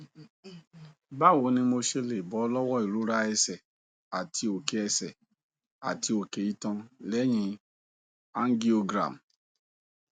báwo ni mo ṣe lè bọ lọwọ ìrora ẹsẹ àti oke ẹsẹ àti oke itan leyin angiogram